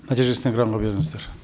нәтижесін экранға беріңіздер